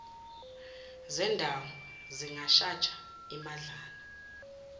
zendawo zingashaja imadlana